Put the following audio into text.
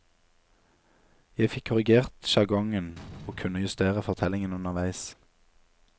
Jeg fikk korrigert sjargongen og kunne justere fortellingen underveis.